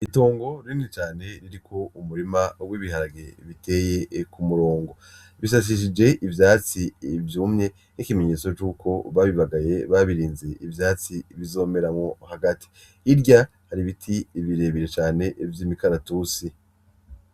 Itongo rinini cane ririmwo umurima w'ibiharage biteye k'umurongo, bishashishije ivyatsi vyumye nk'ikimenyetso c'uko babibagaye babirinze ivyatsi bizomeramwo hagati, hirya har'ibiti birebire cane vy'imikaratusi.